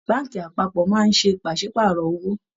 Báànkì apápọ̀ máa ń ṣe pàsípààrọ̀ owó